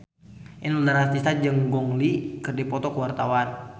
Inul Daratista jeung Gong Li keur dipoto ku wartawan